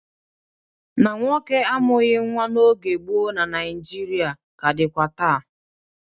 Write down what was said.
Na nwoke amughị nwa n'oge gboo na Naịjirịa ka dịkwa taa.